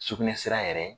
Sugunɛsira yɛrɛ